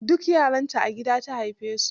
Duk yaranta a gida ta haife su.